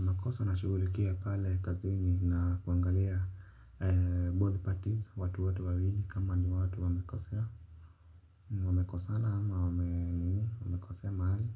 Makosa na shughulikia pale kazi ni ya kuangalia Both parties watu wote wawili kama ni watu wamekosea. Wamekosana ama wamekosea mahali.